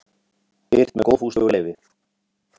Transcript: Birt með góðfúslegu leyfi.